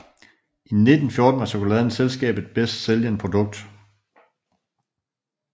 I 1914 var chokoladen selskabet bedst sælgende produkt